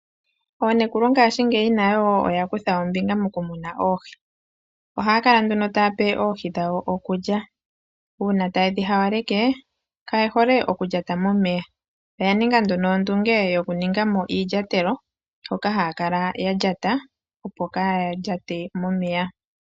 Oonekulu ngashingeyi nayo oya kutha ombinga mokumuna oohi. Ohaya kala nduno taya pe oohi dhawo okulya. Uuna taye dhi hawaleke, kaye hole okulyata momeya. Oya ninga nduno ondunge yokuninga mo iilyatelo, hoka haya kala ya lyata opo ka ya lyate momeya.